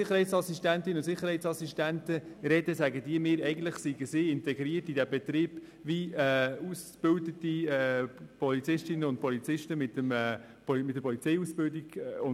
Sicherheitsassistentinnen und Sicherheitsassistenten betonen, dass sie genau gleich in den Betrieb integriert sind wie Polizistinnen und Polizisten mit einer Polizeiausbildung.